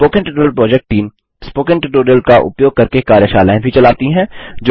spoken tutorial project team spoken tutorial का उपयोग करके कार्यशालाएँ भी चलाती है